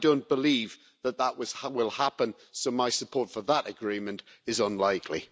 I don't believe that that will happen so my support for that agreement is unlikely.